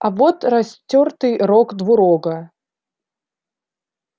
а вот растёртый рог двурога